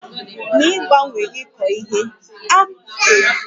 N'ịgbanwe ịkọ ihe, a kpochapụrụ ọhịa, Zụlite ya ruo afọ ụfọdụ wee hapụ ya